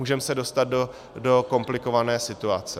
Můžeme se dostat do komplikované situace.